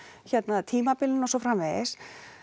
hérna tímabilin og svo framvegis